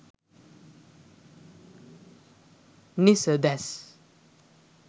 nisades